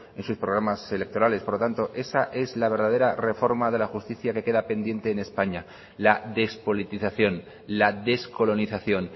en sus programas electorales por lo tanto esa es la verdadera reforma de la justicia que queda pendiente en españa la despolitización la descolonización